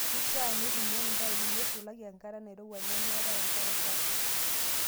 Keishaa neitumiyai impaipi neisulaki enkata nairowua nemeetae enkare sapuk.